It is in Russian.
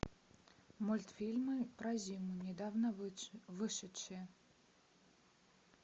мультфильмы про зиму недавно вышедшие